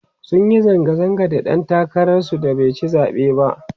sunyi zanga zanga da ɗan takarar su baici zaɓe ba